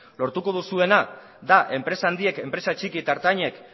lortuko duzuena da enpresa handiek enpresa txiki eta ertainek